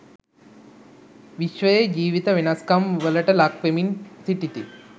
විශ්වයේ ජීවිත වෙනස්කම් වලට ලක් වෙමින් සිටිති.